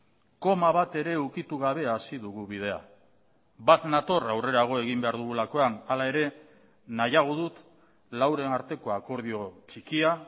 koma bat ere ukitu gabe hasi dugu bidea bat nator aurrerago egin behar dugulakoan hala ere nahiago dut lauren arteko akordio txikia